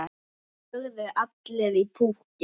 Það lögðu allir í púkkið.